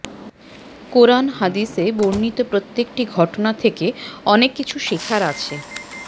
কোরআন হাদিসে বর্ণিত প্রত্যেকটি ঘটনা থেকে অনেক কিছু শেখার আছে